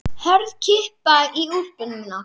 Hörð kippa í úlpuna mína.